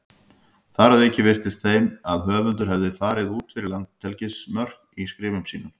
Þar að auki virtist þeim að höfundur hefði farið út fyrir landhelgismörk í skrifum sínum.